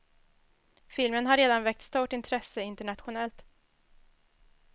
Filmen har redan väckt stort intresse internationellt.